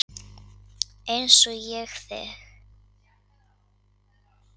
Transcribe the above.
eins og ég þig.